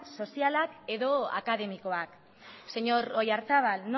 soziala edo akademikoa señor oyarzabal